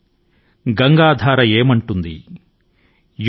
యుగ్ యుగ్ సే బహ్ తా ఆతా యహ్ పుణ్య్ ప్రవాహ్ హమారా